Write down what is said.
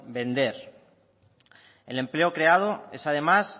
vender el empleo creado es además